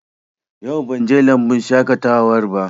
Yau ban je lambun shaƙatawar ba